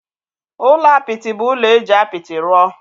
Ụlọ apịtị bụ ụlọ e ji apịtị rụọ.